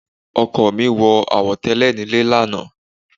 Ọkọ mi wọ àwo tẹ́lẹ̀ nílé lánàá.